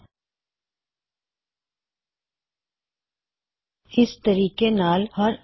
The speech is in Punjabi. ਰੀਵਿਊਅਰ ਦੁਆਰਾ ਸੁਝਾਇਆ ਟੈੱਕਸਟ ਡਿਲਿਟ ਹੋ ਜਾਏ ਗਾ